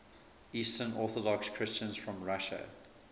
eastern orthodox christians from russia